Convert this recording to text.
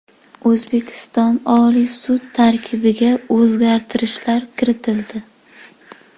O‘zbekiston Oliy sudi tarkibiga o‘zgartishlar kiritildi.